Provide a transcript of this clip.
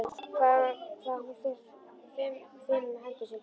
Hvað hún fer fimum höndum um barnið litla.